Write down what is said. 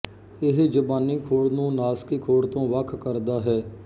ਇਹ ਜ਼ਬਾਨੀ ਖੋੜ ਨੂੰ ਨਾਸਕੀ ਖੋੜ ਤੋਂ ਵੱਖ ਕਰਦਾ ਹੈ